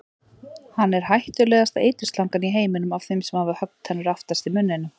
Hann er hættulegasta eiturslangan í heiminum af þeim sem hafa höggtennur aftast í munninum.